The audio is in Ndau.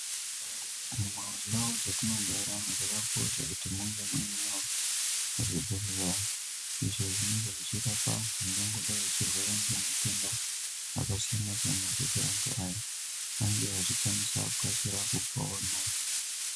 Mundau dzetinogara zvakakosha kuti munge muinewo zvibhedhlera izvo zvinenge zvichirapa anthu angangodai achirwara ngematenda akasiyana siyana kuti anthu aya ange achikwanisa kukasira kupona.